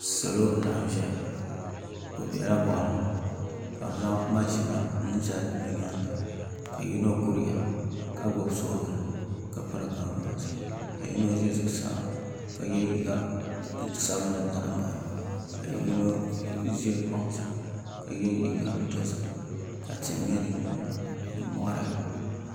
Salo n laɣam ʒɛya bi biɛla boɣali ni ka bi zaŋ maʒina n zali bi nyaanga ka yino kuriya ka gbubi soobuli ka piri kanvaasi ka yino ʒɛ zuɣusaa ka yɛ liiga sabinli zaɣ ŋmaa ka yino ʒɛ kpaŋ sa ka yɛ liiga dozim ka tihi nyɛ din giliba ni mori